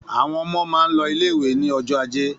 Àwọn ọmọ máa lọ ilé-ìwé ní ọjọ́ ajé.